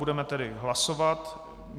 Budeme tedy hlasovat.